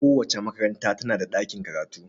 Kowace makaranta tana da ɗakin karatu.